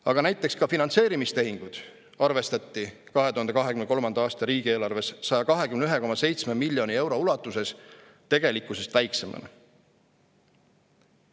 Aga näiteks ka finantseerimistehinguid arvestati 2023. aasta riigieelarves 121,7 miljoni euro ulatuses tegelikkusest väiksemana.